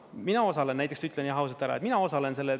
Mina osalen näiteks, ütlen jah ausalt ära, et mina osalen sellel.